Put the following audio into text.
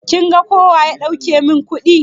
Kin ga kowa ya dauke min kuɗi?